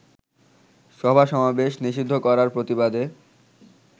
সভা-সমাবেশ নিষিদ্ধ করার প্রতিবাদে